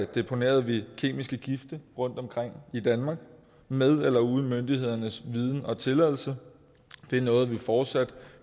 deponerede vi kemiske gifte rundtomkring i danmark med eller uden myndighedernes viden og tilladelse og det er noget vi fortsat